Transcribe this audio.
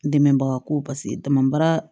Dɛmɛbaga ko paseke dama baara